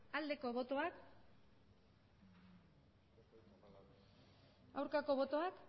aldeko botoak aurkako botoak